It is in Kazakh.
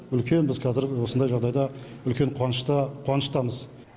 үлкен біз қазір осындай жағдайда үлкен қуанышта қуаныштамыз